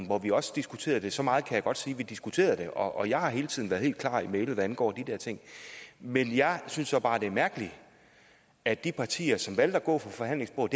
hvor vi også diskuterede det så meget kan jeg godt sige vi diskuterede det og jeg har hele tiden været helt klar i mælet hvad angår de der ting men jeg synes så bare det er mærkeligt at de partier som valgte at gå fra forhandlingsbordet